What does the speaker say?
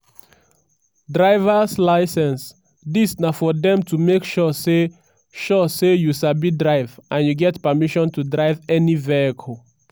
driver's licence: dis na for dem to make sure say sure say you sabi drive and you get permission to drive any vehicle.